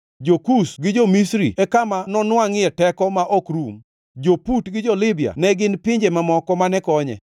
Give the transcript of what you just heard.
Jo-Kush gi Jo-Misri e kama nonwangʼie teko ma ok rum; jo-Put gi jo-Libya ne gin pinje kuom moko mane konye.